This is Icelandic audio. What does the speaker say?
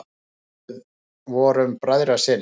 Við vorum bræðrasynir.